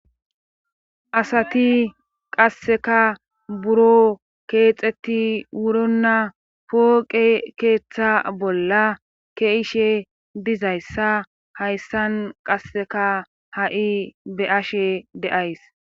Asati qasseka buro keexeti wuronna pooqe keeththa bolla keishe dizayssa hayssan qasseka ha7i be'ashe de'ays.